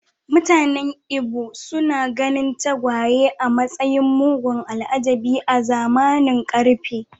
Mutanen Ibo suna ganin tagwaye a matsayin mugun al’ajabi a zamanin ƙarfe.